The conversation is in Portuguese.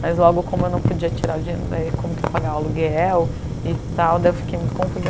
Mas, logo, como eu não podia tirar o dinheiro daí, como que eu ia pagar o aluguel e tal, daí eu fiquei muito confusa.